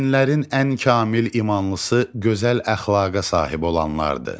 Möminlərin ən kamil imanlısı gözəl əxlaqa sahib olanlardır.